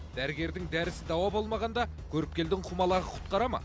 дәрігердің дәрісі дауа болмағанда көріпкелдің құмалағы құтқарады ма